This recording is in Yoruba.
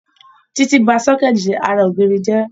Títí ba sọ́kẹ̀tì ara ògiri jẹ́